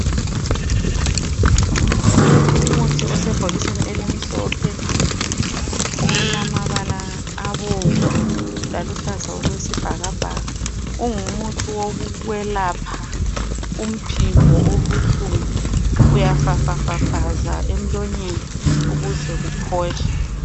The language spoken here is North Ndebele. Umuthi osebhokisini elimhlophe olamabala abomvu laluhlaza okwesibhakabhaka. Ungumuthi wokwelapha umphimbo obuhlungu. Uyafafafaza emlonyeni ukuze kuphole.